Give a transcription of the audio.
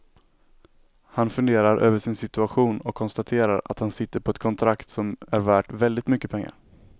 Han funderar över sin situation och konstaterar att han sitter på ett kontrakt som är värt väldigt mycket pengar.